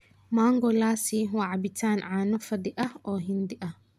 Mango lassi waa cabbitaan caano fadhi ah oo Hindi ah.